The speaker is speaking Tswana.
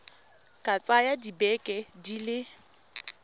ka tsaya dibeke di le